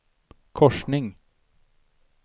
korsning